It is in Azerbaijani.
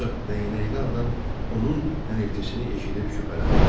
Ancaq dəyənəkli adam onun hənirtisini eşidib şübhələndi.